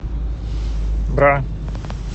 бра